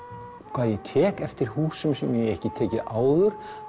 hvað ég tek eftir húsum sem ég hef ekki tekið áður